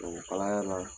O kalaya la